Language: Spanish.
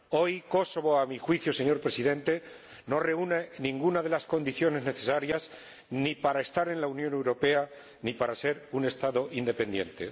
Hoy Kosovo, a mi juicio, señor Presidente, no reúne ninguna de las condiciones necesarias ni para estar en la Unión Europea ni para ser un Estado independiente.